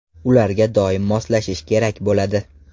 Ularga doim moslashish kerak bo‘ladi.